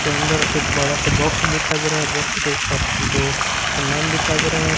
के अंदर एक बड़ा सा बॉक्स दिखाई दे रहा है बॉक्स के ऊपर दो समान दिखा दे रहे --